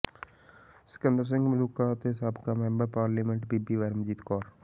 ਸਿਕੰਦਰ ਸਿੰਘ ਮਲੂਕਾ ਅਤੇ ਸਾਬਕਾ member parliament ਬੀਬੀ ਪਰਮਜੀਤ ਕੌਰ